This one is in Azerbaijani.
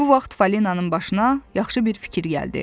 Bu vaxt Falinanın başına yaxşı bir fikir gəldi.